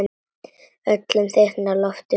Öllum þykir lofið gott.